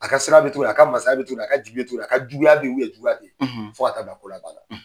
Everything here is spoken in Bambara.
A ka sira be to yen,a ka mansaya be to yen, a ka jigi bɛ to yen, a ka juguya be yen, juguya tɛ yen fo ka t'a bila ko laban la,